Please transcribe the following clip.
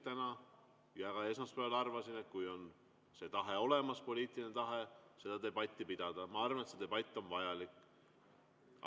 täna, ja ka esmaspäeval arvasin, et kui on poliitiline tahe seda debatti pidada, siis ma arvan, et see debatt on vajalik.